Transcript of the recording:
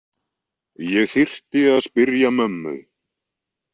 Ég þyrfti að spyrja mömmu.